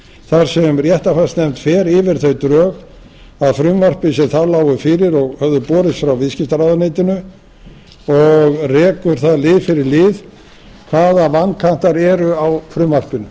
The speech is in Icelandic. þar sem réttarfarsnefnd fer yfir þau drög að frumvarpi sem þá lágu fyrir og höfðu borist frá viðskiptaráðuneytinu og rekur það lið fyrir lið hvaða vankantar eru á frumvarpinu